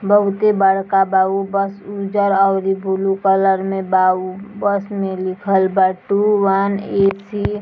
बहुते बड़का बा | उ बस उज्जर और इ बुलु कलर में बा | उ बस में लिखल वा टू वन एट थ्री --